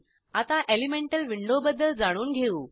आता elemental window बद्दल जाणून घेऊ